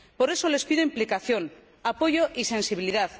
Por eso les pido implicación, apoyo y sensibilidad.